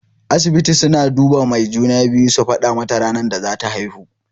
Asibiti suna duba mai juna-biyu su faɗa mata ranar da zata haihu.